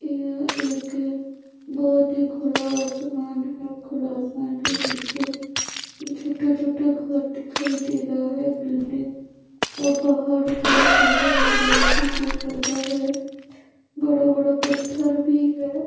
यृ एक बहुत ही खुला आसमान है खुला आसमान के नीचे छोटे-छोटे घर दिखाई दे रहा है बिल्डिंग और पहाड़ के पहाड़ में बहोत ही पेड़-पौधा है बड़ा-बड़ा पत्थर भी है।